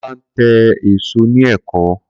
Kola ń ta èèso ni Èkó